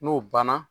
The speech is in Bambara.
N'o banna